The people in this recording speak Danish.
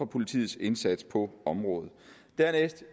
politiets indsats på området dernæst